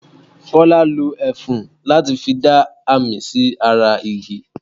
Kọ́lá lo ẹfun láti fi dá àmì sí ara igi.